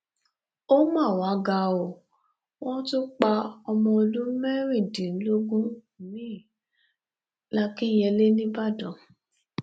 ó mà wá ga o wọn tún pa ọmọ ọdún mẹrìndínlógún miín làkìnyẹlé nìbàdàn